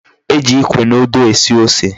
E ji ikwe na ode esu ose